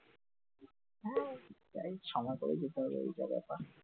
হ্যাঁ, তাই সময় করে যেতে হবে ওই জায়গাটায়